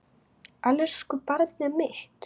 Elsku barnið mitt.